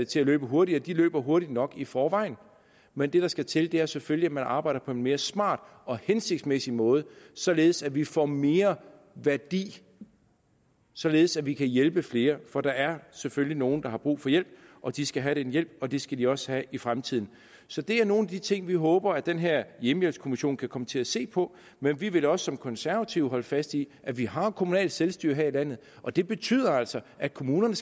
til at løbe hurtigere de løber hurtigt nok i forvejen men det der skal til er selvfølgelig at man arbejder på en mere smart og hensigtsmæssig måde således at vi får mere værdi således at vi kan hjælpe flere for der er selvfølgelig nogle der har brug for hjælp og de skal have den hjælp og det skal de også have i fremtiden så det er nogle af de ting vi håber at den her hjemmehjælpskommission kan komme til at se på men vi vil også som konservative holde fast i at vi har kommunalt selvstyre her i landet og det betyder altså at kommunerne